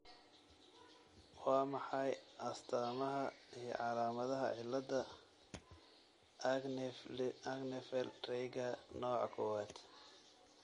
Waa maxay astamaha iyo calaamadaha cilada Axenfeld Rieger nooca kowaad?